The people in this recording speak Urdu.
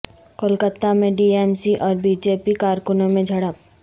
کولکتہ میں ٹی ایم سی اور بی جے پی کارکنوں میں جھڑپ